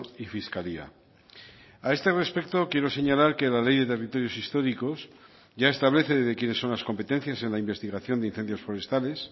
y fiscalía a este respecto quiero señalar que la ley de territorios históricos ya establece de quiénes son las competencias en la investigación de incendios forestales